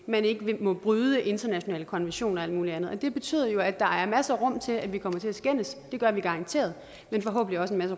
man ikke må bryde internationale konventioner og alt muligt andet og det betyder jo at der er masser af rum til at vi kommer til at skændes det gør vi garanteret men forhåbentlig